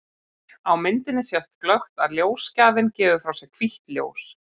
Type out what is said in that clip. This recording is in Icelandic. Á myndinni sést glöggt að ljósgjafinn gefur frá sér hvítt ljós.